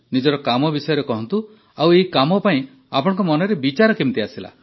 ନିଜର କାମ ବିଷୟରେ କହନ୍ତୁ ଆଉ ଏହି କାମ ପାଇଁ ଆପଣଙ୍କ ମନରେ ବିଚାର କେମିତି ଆସିଲା